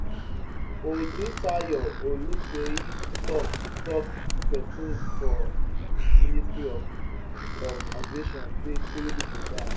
odutayo oluseyi tok tok pesin for di ministry of of aviation say three pipo die